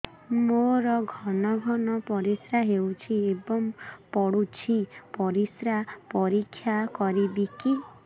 ମୋର ଘନ ଘନ ପରିସ୍ରା ହେଉଛି ଏବଂ ପଡ଼ୁଛି ପରିସ୍ରା ପରୀକ୍ଷା କରିବିକି